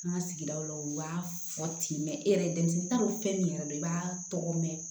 An ka sigidaw la u b'a fɔ ten e yɛrɛ denmisɛnnin t'a dɔn fɛn min yɛrɛ do i b'a tɔgɔ mɛn